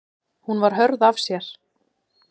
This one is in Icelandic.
Hún var hörð af sér.